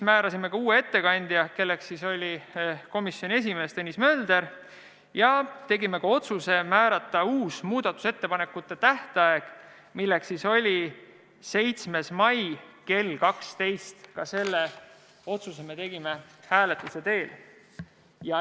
Määrasime ka uue ettekandja, kelleks sai komisjoni esimees Tõnis Mölder, ja tegime otsuse määrata uus muudatusettepanekute esitamise tähtaeg, milleks on 7. mai kell 12, ka selle otsuse me tegime hääletuse teel.